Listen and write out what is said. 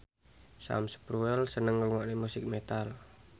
Sam Spruell seneng ngrungokne musik metal